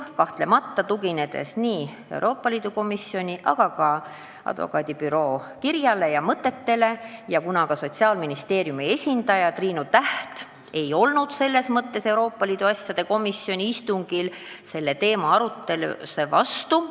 Märgin ka, et Sotsiaalministeeriumi esindaja Triinu Täht ei olnud Euroopa Liidu asjade komisjoni istungil advokaadibüroo tõstatatud teema arutelu vastu.